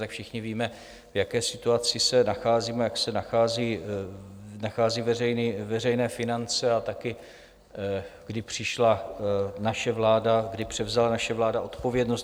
No, všichni víme, v jaké situaci se nacházíme, jak se nachází veřejné finance, a taky kdy přišla naše vláda, kdy převzala naše vláda odpovědnost.